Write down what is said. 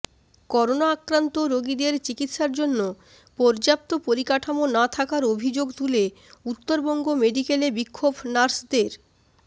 corona আক্রান্ত রোগীদের চিকিৎসার জন্য পর্যাপ্ত পরিকাঠামো না থাকার অভিযোগ তুলে উত্তরবঙ্গ মেডিকেলে বিক্ষোভ নার্সদের